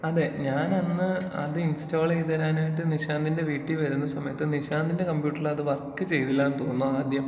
അതേ ഞാനന്ന് അത് ഇൻസ്റ്റാൾ ചെയ്ത് തരാനായിട്ട് നിശാന്തിന്റെ വീട്ടീ വരുന്ന സമയത്ത് നിശാന്ത് ന്റെ കമ്പ്യൂട്ടറിലത് വർക്ക് ചെയ്തില്ലാന്ന് തോന്നുന്നു ആദ്യം.